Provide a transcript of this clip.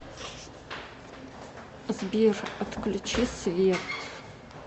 сбер отключи свет